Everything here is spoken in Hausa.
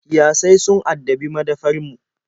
Kiyasai sun addabi madafar mu.